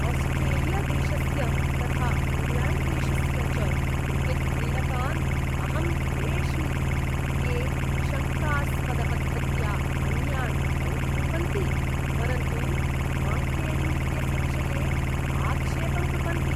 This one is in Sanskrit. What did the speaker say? आस्ट्रेलियादेशस्य तथा इङ्ग्लेण्ड्देशस्य च क्रिकेट्क्रीडकान् अहं द्वेष्मि, ये शङ्कास्पदपद्धत्या अन्यान् औट् कुर्वन्ति, परन्तु मान्केडिङ्ग् इत्यस्य विषये आक्षेपं कुर्वन्ति।